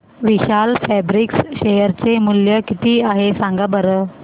विशाल fabrics share चे मूल्य किती आहे सांगा बरं